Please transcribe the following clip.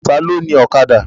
Ta ló ni Ọ̀kadà?